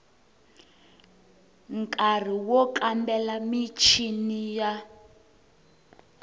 nkari wo kambela michini ya